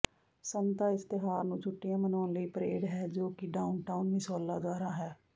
ਸੰਤਾ ਇਸ ਤਿਉਹਾਰ ਨੂੰ ਛੁੱਟੀਆਂ ਮਨਾਉਣ ਲਈ ਪਰੇਡ ਹੈ ਜੋ ਕਿ ਡਾਊਨਟਾਊਨ ਮਿਸੌਲਾ ਦੁਆਰਾ ਹੈ